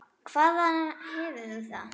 Hvaðan hefur þú það?